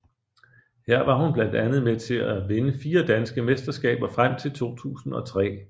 Her var hun blandt andet med til at vinde fire danske mesterskaber frem til 2003